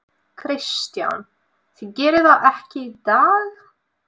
Kristján: Þið gerið það ekki í dag?